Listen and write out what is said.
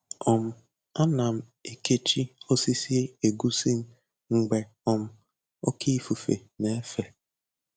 um Ana m ekechi osisi egusi m mgbe um oke ifufe na-efe